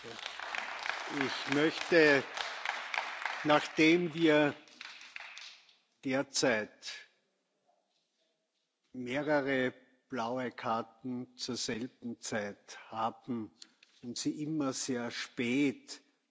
Nachdem wir derzeit mehrere blaue Karten zur selben Zeit haben, die immer sehr spät mit Handzeichen abgegeben werden, möchte